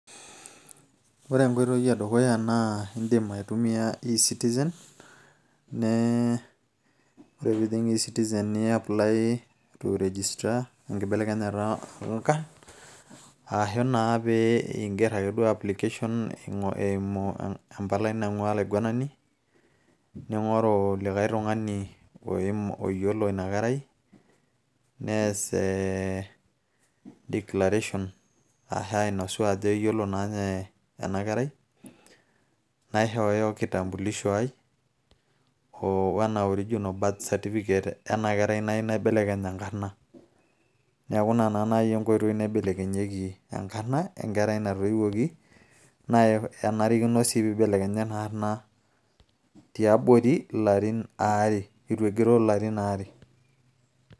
ore enkoitoi e dukuya naa indim aa e citizen nee ore piijing e citizen ni apply to registra enkibelekenyata oonkarn aashu ake naa piingerr ake duo application eimu empalai naing'ua olaiguanani ning'oru lijkay tung'ani oyiolo ina kerai nees ee declaration a aashu ainosu ajo eyiolo naa ninye ena kerai naishooyo kitambulisho ai oo ena original birth certificate ena kerai nayieu naibelekeny enkarna neeku ina naa naaji enkoitoi naibelekenyieki enkarna enkerai natoiwuoki naa enarikino sii nibelekenyi ena arrna tiabori ilarin aare eitu egiroo ilarin aare.